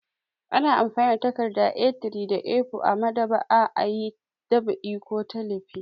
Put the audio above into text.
Ana amfani da takarda A3 da A4 a maɗ'aba'a a yi ɗab'i ko talifi.